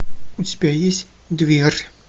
у тебя есть дверь